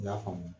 I y'a faamu